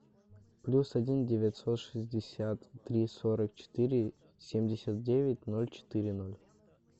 плюс один девятьсот шестьдесят три сорок четыре семьдесят девять ноль четыре ноль